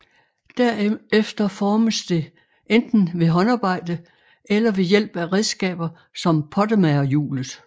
Derefter formes det enten ved håndarbejde eller ved hjælp af redskaber som pottemagerhjulet